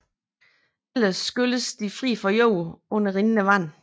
Ellers skylles de fri for jord under rindende vand